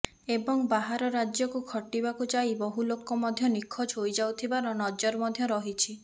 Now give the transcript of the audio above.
ଏବଂ ବାହାର ରାଜ୍ୟକୁ ଖଟିବାକୁଯାଇ ବହୁ ଲୋକ ମଧ୍ୟ ନିଖୋଜ ହୋଇଯାଉଥିବାର ନଜିର ମଧ୍ୟ ରହିଛି